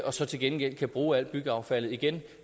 og så til gengæld kan bruge al byggeaffaldet igen